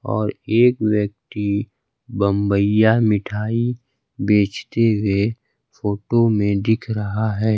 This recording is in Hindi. और एक व्यक्ति बंबईया मिठाई बेचते हुए फोटो में दिख रहा है।